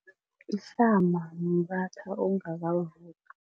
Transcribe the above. Ihlama mratha ongakavuthwa.